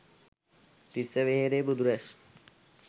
තිස්ස වෙහෙරේ බුදු රැස්